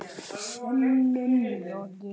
Sönnun lokið.